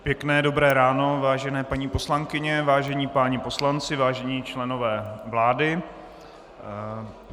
Pěkné dobré ráno, vážené paní poslankyně, vážení páni poslanci, vážení členové vlády.